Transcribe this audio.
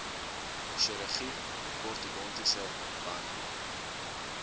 chirurgie ortodontiese behandeling